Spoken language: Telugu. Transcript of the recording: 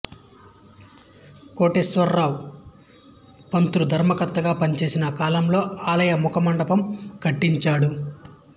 కోటేశ్వరావు పంతులు ధర్మకర్తగా పనిచేసిన కాలంలో ఆలయ ముఖమండపం కట్టించాడు